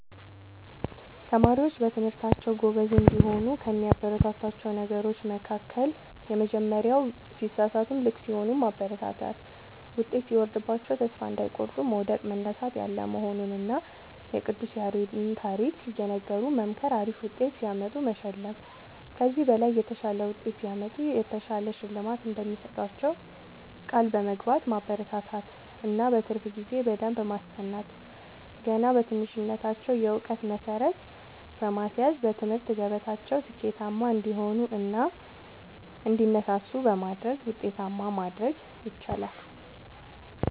ተማሪዎች በትምህርታቸዉ ጎበዝ እንዲሆኑ ከሚያበረታቷቸዉ ነገሮች መካከል:- የመጀመሪያዉ ሲሳሳቱም ልክ ሲሆኑም ማበረታታት ዉጤት ሲወርድባቸዉም ተስፋ እንዳይቆርጡ መዉደቅ መነሳት ያለ መሆኑንና የቅዱስ ያሬድን ታሪክ እየነገሩ መምከር አሪፍ ዉጤት ሲያመጡ መሸለም ከዚህ በላይ የተሻለ ዉጤት ሲያመጡ የተሻለ ሽልማት እንደሚሰጧቸዉ ቃል በመግባት ማበረታታት እና በትርፍ ጊዜ በደንብ በማስጠናት ገና በትንሽነታቸዉ የእዉቀት መሠረት በማስያዝ በትምህርት ገበታቸዉ ስኬታማ እንዲሆኑ እና እንዲነሳሱ በማድረግ ዉጤታማ ማድረግ ይቻላል።